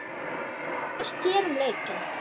Hvað fannst þér um leikinn?